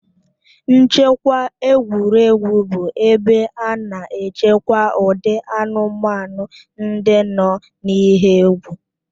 Nchekwa egwuregwu bụ ebe a na-echekwa ụdị anụmanụ ndị nọ n'ihe egwu